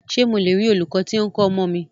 Ṣé mo le rí olūkọ́ tí o ń kọ́ ọmọ mi?